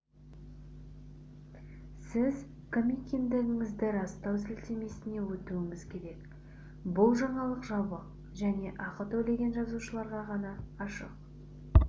сіз кім екендігіңізді растау сілтемесіне өтуіңіз керек бұл жаңалық жабық және ақы төлеген жазылушыларға ғана ашық